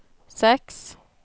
seks